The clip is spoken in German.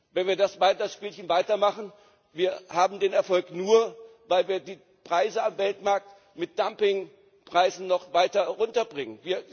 Wenn wir das Spielchen weitermachen, haben wir den Erfolg nur, weil wir die Preise am Weltmarkt mit Dumpingpreisen noch weiter herunterbringen.